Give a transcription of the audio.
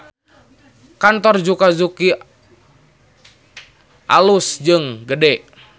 Kantor Zuka Suki alus jeung gede